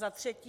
Za třetí.